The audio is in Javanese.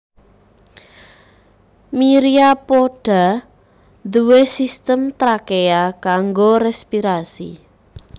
Myriapoda nduwé sistem trakea kanggo respirasi